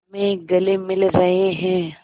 में गले मिल रहे हैं